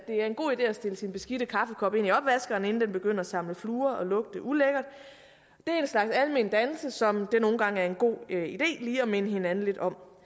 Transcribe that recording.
er en god idé at stille sin beskidte kaffekop ind i opvaskeren inden den begynder at samle fluer og lugte ulækkert det er en slags almen dannelse som det nogle gange er en god idé lige at minde hinanden lidt om